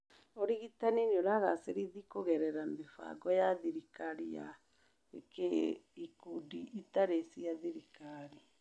Ũrigitani nĩ ũragacĩrithi kũgerera mĩbango ya thirikari na ya ikundi itarĩ cia thirikari